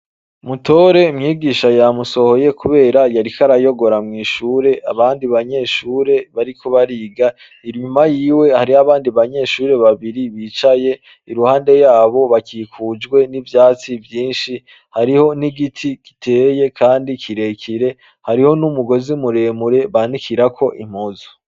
MUTORE mwigisha yamusohoye kubera yariko arayogora mw'ishure abandi banyeshure bariko bariga. Inyuma yiwe hariho abandi banyeshure babiri bicaye. Iruhande yabo bakikujwe n'ivyatsi vyinshi. Hariho n'igiti giteye kandi kirekire. Hariho kandi n'umugozi muremure banikirako impuzu.